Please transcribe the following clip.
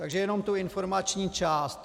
Takže jenom tu informační část.